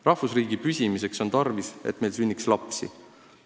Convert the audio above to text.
Rahvusriigi püsimiseks on tarvis, et meil sünniks lapsi.